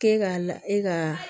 Ke ka la e ka